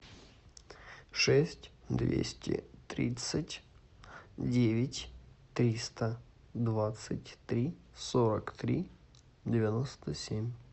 шесть двести тридцать девять триста двадцать три сорок три девяносто семь